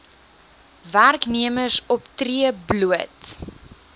werknemers optree bloot